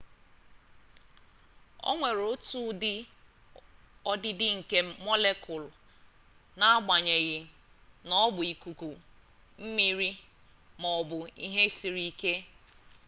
o nwere otu ụdị ọdịdị nke mọlekụụlụ n'agbanyeghị na ọ bụ ikuku mmiri ma ọ bụ ihe siri ke